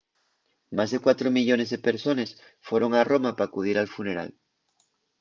más de cuatro millones de persones foron a roma p’acudir al funeral